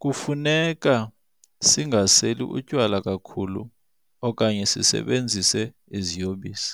Kufuneka singaseli utywala kakhulu okanye sisebenzise iziyobisi.